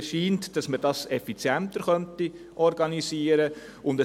Mir scheint, dass man dies effizienter organisieren könnte.